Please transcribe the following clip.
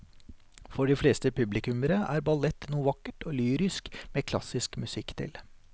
For de fleste publikummere er ballett noe vakkert og lyrisk med klassisk musikk til.